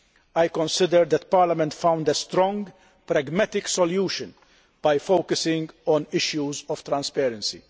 I consider that Parliament found a strong, pragmatic solution by focusing on issues of transparency.